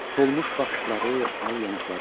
Solmuş baxışları, al yanaqları.